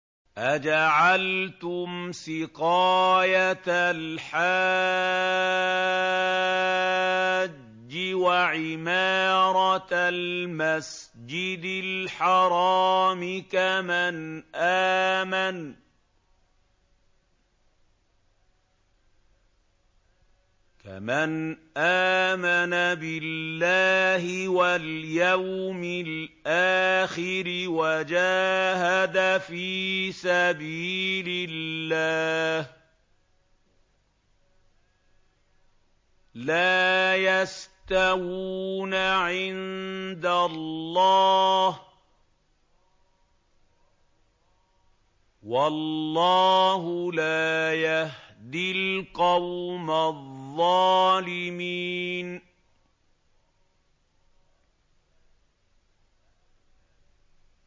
۞ أَجَعَلْتُمْ سِقَايَةَ الْحَاجِّ وَعِمَارَةَ الْمَسْجِدِ الْحَرَامِ كَمَنْ آمَنَ بِاللَّهِ وَالْيَوْمِ الْآخِرِ وَجَاهَدَ فِي سَبِيلِ اللَّهِ ۚ لَا يَسْتَوُونَ عِندَ اللَّهِ ۗ وَاللَّهُ لَا يَهْدِي الْقَوْمَ الظَّالِمِينَ